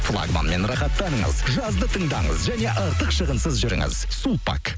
флагманмен рахатаныңыз жазды тыңдаңыз және артық шығынсыз жүріңіз сулпак